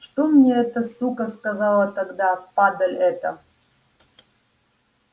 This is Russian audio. что мне эта сука сказала тогда падаль эта